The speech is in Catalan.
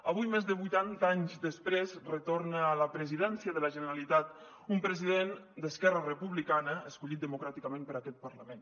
avui més de vuitanta anys després retorna a la presidència de la generalitat un president d’esquerra republicana escollit democràticament per aquest parlament